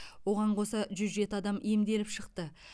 оған қоса жүз жеті адам емделіп шықты